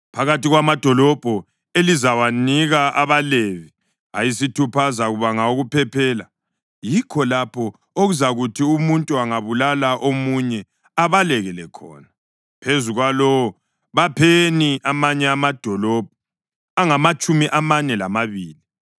“Phakathi kwamadolobho elizawanika abaLevi, ayisithupha azakuba ngawokuphephela, yikho lapho okuzakuthi umuntu angabulala omunye abalekele khona. Phezu kwalawo, bapheni amanye amadolobho angamatshumi amane lamabili.